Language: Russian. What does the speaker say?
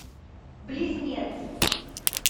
близнец